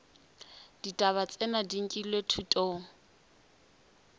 ditaba tsena di nkilwe thutong